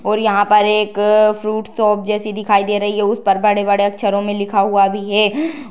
और यहाँ पर एक फ्रूट शॉप जैसी दिखाई दे रही है उस पर बड़े-बड़े अक्षरों में लिखा हुआ भी है।